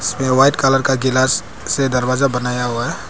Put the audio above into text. इसमें white colour का glass से दरवाजा बनाया हुआ है।